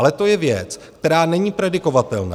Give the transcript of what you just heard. Ale to je věc, která není predikovatelná.